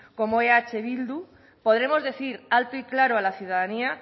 como eh bildu podremos decir alto y claro a la ciudadanía